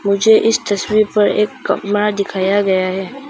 मुझे इस तस्वीर पर एक कमरा दिखाया गया है।